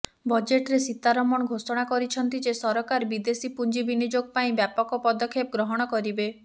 ବଜେଟରେ ସୀତାରମଣ ଘୋଷଣା କରିଛନ୍ତି ଯେ ସରକାର ବିଦେଶୀ ପୁଞ୍ଜି ବିନିଯୋଗ ପାଇଁ ବ୍ୟାପକ ପଦକ୍ଷେପ ଗ୍ରହଣ କରିବେ